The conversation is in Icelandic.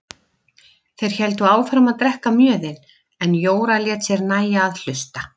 Þeir héldu áfram að drekka mjöðinn en Jóra lét sér nægja að hlusta.